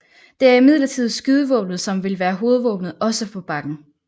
Det er imidlertid skydevåbenet som vil være hovedvåbenet også på bakken